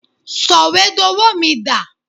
Sọ̀wédowó mi dà?